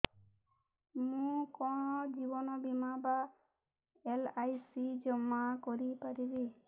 ମୁ କଣ ଜୀବନ ବୀମା ବା ଏଲ୍.ଆଇ.ସି ଜମା କରି ପାରିବି